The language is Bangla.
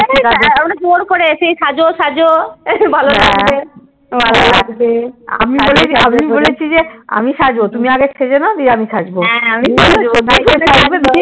অনেক জোর করে সেই সাজো সাজো যে ভালো লাগবে ভালো লাগবে সাজো সাজো করে আমি বলেছি যে আমি বলেছি যে আমি সাজবো তুমি আগে সেজে নাও দিয়ে আমি সাজবো